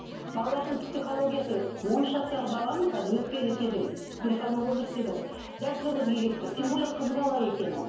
балалардың психологиясы он үш жастағы баланың қазір өтпелі кезең переходной возраст дейді ғой дәл сол кезге келіп тұр тем более қыз бала екен ол